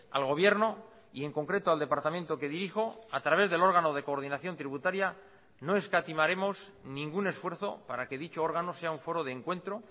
al gobierno y en concreto al departamento que dirijo a través del órgano de coordinación tributaria no escatimaremos ningún esfuerzo para que dicho órgano sea un foro de encuentro